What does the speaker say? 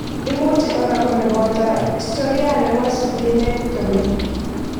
Imuche kora kole boto historia nebo splenectomy